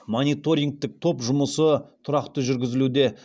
мониторингтік топ жұмысы тұрақты жүргізілуде